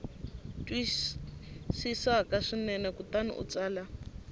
twisisaka swinene kutani u tsala